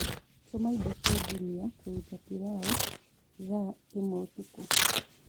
tuma indo cia jumia kũrũta pilau thaaĩmweũtũkũ